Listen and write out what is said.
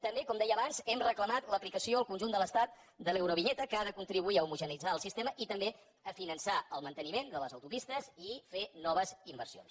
també com deia abans hem reclamat l’aplicació al conjunt de l’estat de l’eurovinyeta que ha de contribuir a homogeneïtzar el sistema i també a finançar el manteniment de les autopistes i fer noves inversions